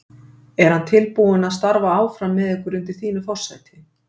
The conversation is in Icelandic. Er hann tilbúinn að starfa áfram með ykkur undir þínu forsæti?